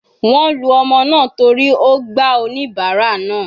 Wọ́n lu ọmọ náà torí ó gba oníbárà náà.